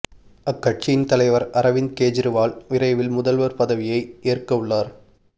அக்கட்சியின் தலைவர் அரவிந்த் கெஜ்ரிவால் விரைவில் முதல்வர் பதவியை ஏற்க உள்ளார்